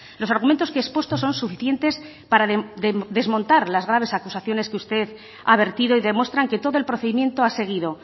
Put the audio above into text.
los argumentos que he expuesto son suficientes para desmontar las graves acusaciones que usted ha vertido y demuestran que todo el procedimiento ha seguido